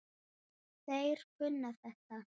Þeir kunna þetta.